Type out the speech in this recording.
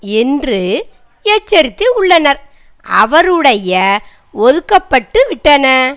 என்று எச்சரித்து உள்ளனர் அவருடைய ஒதுக்கப்பட்டுவிட்டன